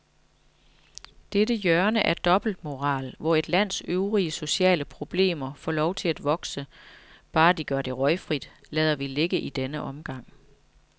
Dette hjørne af dobbeltmoral, hvor et lands øvrige sociale problemer får lov at vokse, bare de gør det røgfrit, lader vi ligge i denne omgang.